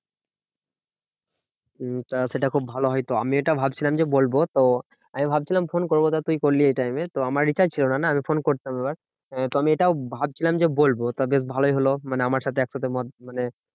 হম তা সেটা খুব ভালো হয় তো। আমি এটা ভাবছিলাম যে, বলবো তো আমি ভাবছিলাম ফোন করবো তো তুই করলি এই time এ। তো আমার recharge ছিল না না আমি ফোন করতাম এবার। তো আমি এটাও ভাবছিলাম যে বলবো তা বেশ ভালোই হলো মানে আমার সাথে একসাথে মত মানে